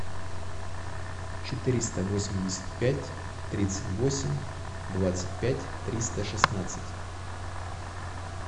четыреста восемьдесят пять тридцать восемь двадцать пять триста шестнадцать